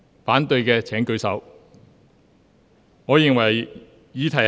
反對的請舉手。